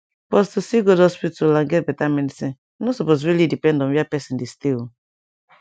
pause to see good hospital and get beta medicine nor supose really depend on where person dey stay o